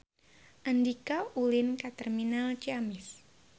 Andika ulin ka Terminal Ciamis